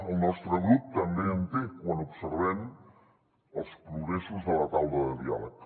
el nostre grup també en té quan observem els progressos de la taula de diàleg